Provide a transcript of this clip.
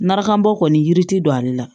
Maraka bɔ kɔni yiri ti don ale la